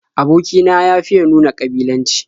Aboki na ya fiya nuna ƙabilanci.